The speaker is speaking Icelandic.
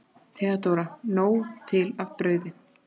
THEODÓRA: Nóg til af brauði!